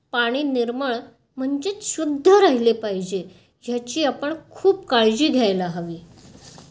पाणी निर्मल म्हणजे क्षुधह राहिले पाहिजे. ह्याची आपण खूप काळजी घ्यायला हवी.